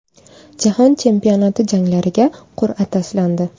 Jahon chempionati janglariga qur’a tashlandi.